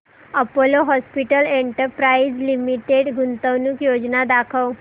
Apollo Hospitals Enterprise Limited गुंतवणूक योजना दाखव